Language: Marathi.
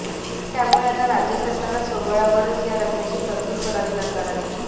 त्यामुळे आता राज्य सरकारला स्वबळावरच या रकमेची तरतूद करावी लागणार आहे